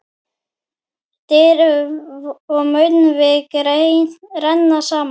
Dyr og munnvik renna saman.